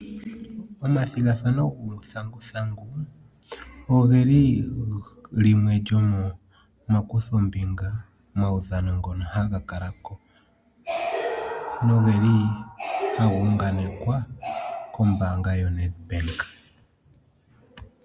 Omathigathano gu thangu thangu ogeli limwe lyomo ma kuthombinga, omaudhano ngono haga kala ko no geli haga unga nekwa kombanga yoNedbank.